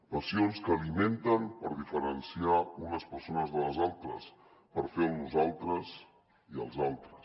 passions que alimenten per diferenciar unes persones de les altres per fer el nosaltres i els altres